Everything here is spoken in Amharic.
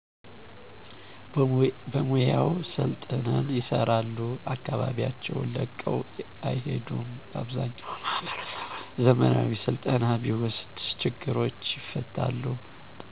በሙያው ሰልጥነው ይሰራሉ አከባቢያቸውን ለቀው አይሄዱም በአብዛኛው ማህበረሰቡ ዘመናዊ ስልጠና ቢወስድ ችግሮቹ ይፈታሉ።